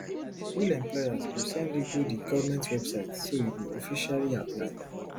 real employers go send you go di goment website so you go officially apply